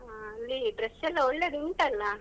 ಅಹ್ ಅಲ್ಲಿ dress ಎಲ್ಲ ಒಳ್ಳೆದು ಉಂಟಲ್ಲಾ?